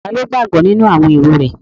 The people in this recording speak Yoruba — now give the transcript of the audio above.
Taló gbàgbọ́ nínú àwọn èrò rẹ̀?